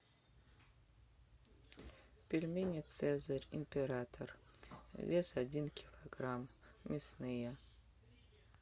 пельмени цезарь император вес один килограмм мясные